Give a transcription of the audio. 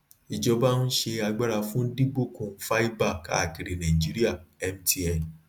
ìjọba ń ṣe agbára fún dìbòkùn fáìbà káàkiri nàìjíríà mtn